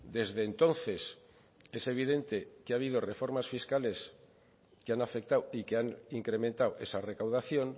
desde entonces es evidente que ha habido reformas fiscales que han afectado y que han incrementado esa recaudación